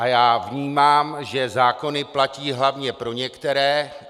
A já vnímám, že zákony platí hlavně pro některé.